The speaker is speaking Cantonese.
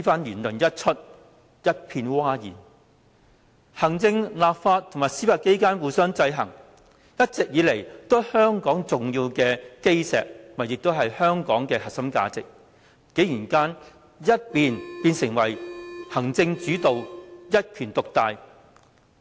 言論一出，一片譁然，行政、立法及司法機關互相制衡，一直以來都是香港重要的基石及核心價值，竟然搖身一變成為行政主導、一權獨大。